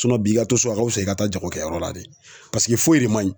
i ka to so a ka wusa i ka taa jagokɛyɔrɔ la de paseke foyi de man ɲi.